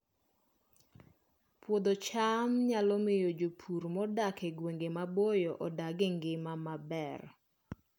Puodho cham nyalo miyo jopur modak e gwenge maboyo odag e ngima maber